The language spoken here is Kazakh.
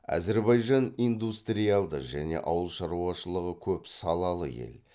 әзірбайжан индустриалды және ауыл шаруашылығы көп салалы ел